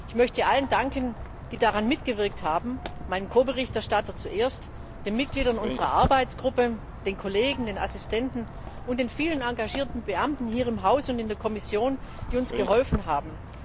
Ich möchte allen danken, die daran mitgewirkt haben, in erster Linie meinem Ko Berichtstatter sowie den Mitgliedern unserer Arbeitsgruppe, den Kollegen, den Assistenten und den vielen engagierten Beamten hier im Haus und in der Kommission, die uns geholfen haben.